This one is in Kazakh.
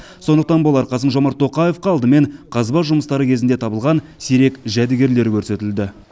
сондықтан болар қасым жомарт тоқаевқа алдымен қазба жұмыстары кезінде табылған сирек жәдігерлер көрсетілді